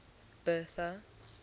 bertha